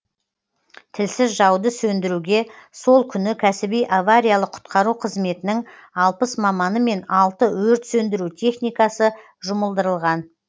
тілсіз жауды сөндіруге сол күні кәсіби авариялық құтқару қызметінің алпыс маманы мен алты өрт сөндіру техникасы жұмылдырылған